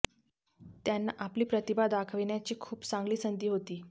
त्यांना आपली प्रतिभा दाखवण्याची खूप चांगली संधी होती